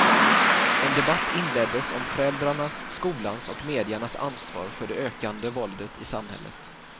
En debatt inleddes om föräldrarnas, skolans och mediernas ansvar för det ökande våldet i samhället.